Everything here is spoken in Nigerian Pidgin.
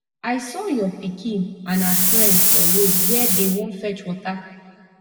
i saw your pikin and her friend for road where dey wan fetch water